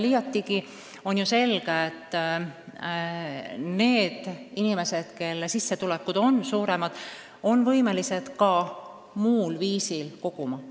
Liiatigi on selge, et need inimesed, kelle sissetulekud on suuremad, on võimelised ka muul viisil koguma.